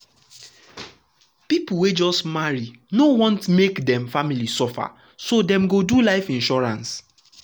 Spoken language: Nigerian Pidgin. people wey just marry no want no want make dem family suffer so dem go do life insurance.